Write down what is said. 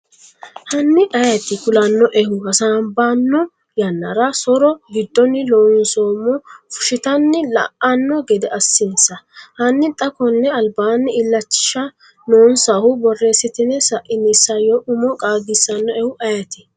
Hanni ayeeti kulannoehu? Hasaabbanno yannara so’ro giddonni Loonseemmo fushshitanni la’anno gede assinsa, hanni xa konni albaanni Illachisha noonsahu borreessitine sa’ini isayyo umo qaagisannoehu ayeeti?